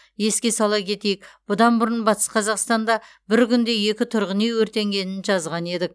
еске сала кетейік бұдан бұрын батыс қазақстанда бір күнде екі тұрғын үй өртенгенін жазған едік